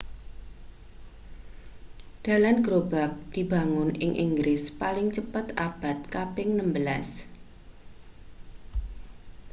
dalan gerobak dibangun ing inggris paling cepet abad kaping 16